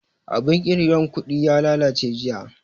Abun ƙirga kuɗin ya lalace jiya